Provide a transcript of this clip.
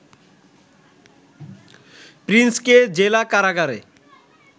প্রিন্সকে জেলা কারাগারে